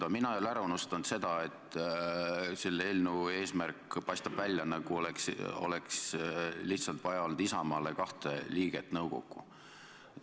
Aga mina ei ole ära unustanud seda, et selle eelnõu eesmärk paistab välja nii, nagu oleks lihtsalt Isamaale olnud vaja kahte liiget nõukokku.